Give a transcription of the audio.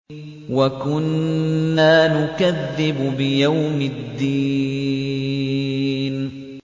وَكُنَّا نُكَذِّبُ بِيَوْمِ الدِّينِ